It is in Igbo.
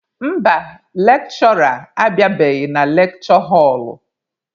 Mba, lekshụra abịabeghị na lekshure họlụ.